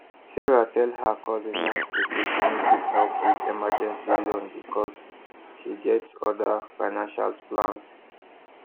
sarah tell her cousin nicely say she no fit help with emergency loan because she get other financial plans